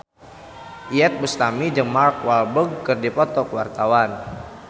Iyeth Bustami jeung Mark Walberg keur dipoto ku wartawan